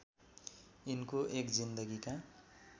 यिनको १ जिन्दगीका